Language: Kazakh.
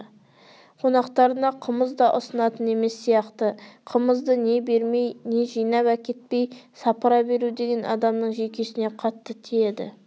қонақтарына қымыз да ұсынатын емес сияқты қымызды не бермей не жинап әкетпей сапыра беру деген адамның жүйкесіне қатты тиеді